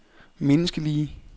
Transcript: menneskelige